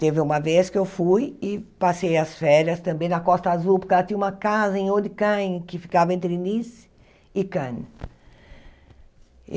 Teve uma vez que eu fui e passei as férias também na Costa Azul, porque ela tinha uma casa em Olhican, que ficava entre Nice e Cannes.